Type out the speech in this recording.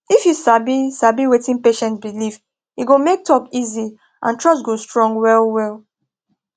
if you sabi sabi wetin patient believe e go make talk easy and trust go strong well well